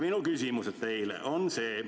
" Minu küsimused teile on need.